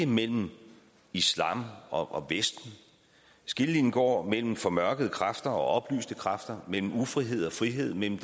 mellem islam og vesten skillelinjen går mellem formørkede kræfter og oplyste kræfter mellem ufrihed og frihed mellem